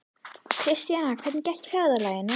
Kristjana, hvernig gekk ferðalagið?